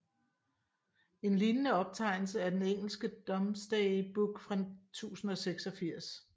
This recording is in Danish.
En lignende optegnelse er den engelske Domesday Book fra 1086